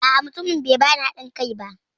A'a, mutumin bai bani haɗin kai ba.